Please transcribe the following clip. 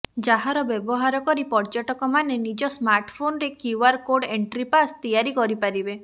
ଯାହାର ବ୍ୟବହାର କରି ପର୍ଯ୍ୟଟକମାନେ ନିଜ ସ୍ମାର୍ଟାଫୋନରେ କ୍ୟୁଆର୍ କୋର୍ଡ ଏଣ୍ଟ୍ରି ପାସ୍ ତିଆରି କରିପାରିବେ